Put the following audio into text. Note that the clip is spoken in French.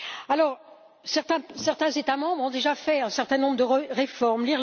Alors, certains États membres ont déjà fait un certain nombre de réformes.